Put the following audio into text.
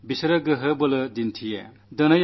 സൈന്യം അവരുടെ ശൌര്യം കാട്ടുകയാണു ചെയ്യുക